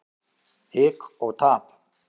Hik og tap.